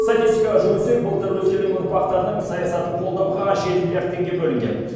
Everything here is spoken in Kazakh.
статистикаға жүгінсек былтыр өскелең ұрпақтардың саясатын қолдауға жеті миллиард теңге бөлінген